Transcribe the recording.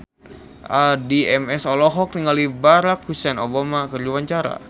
Addie MS olohok ningali Barack Hussein Obama keur diwawancara